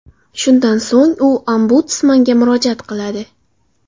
Shundan so‘ng u Ombudsmanga murojaat qiladi.